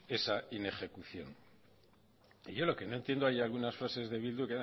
esa inejecución y yo lo que no entiendo hay algunas frases de bildu